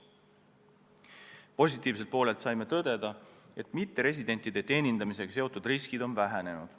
Positiivselt poolelt saime tõdeda, et mitteresidentide teenindamisega seotud riskid on vähenenud.